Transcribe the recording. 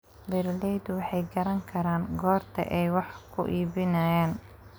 Beeraleydu waxay garan karaan goorta ay wax ku iibinayaan.